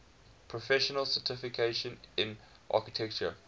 professional certification in architecture